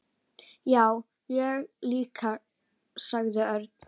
Já, ég líka sagði Örn.